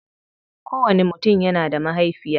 Kowanni mutum yana da mahaifiya.